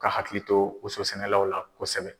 Ka hakili to woso sɛnɛlaw la kosɛbɛ.